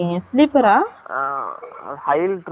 hail trip நு சொல்லிட்டு bus சு